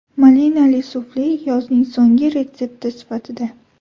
Malinali sufle yozning so‘nggi retsepti sifatida.